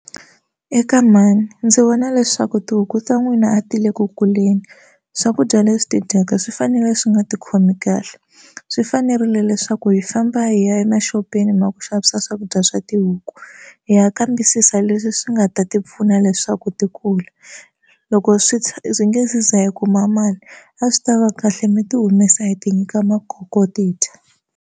Eka mhani ndzi vona leswaku tihuku ta n'wina a ti le ku kuleni swakudya leswi ti dyaka swi fanele swi nga ti khomi kahle swi fanerile leswaku hi famba hi ya emaxopeni ma ku xavisa swakudya swa tihuku hi ya kambisisa leswi swi nga ta ti pfuna leswaku ti kula loko swi swi nge se za hi kuma mali a swi tava kahle mi ti humesa hi ti nyika makoko ti dya.